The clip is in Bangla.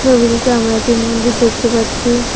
রবিটিতে আমরা একটি মন্দির দেখতে পাচ্ছি।